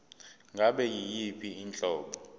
ngabe yiyiphi inhlobo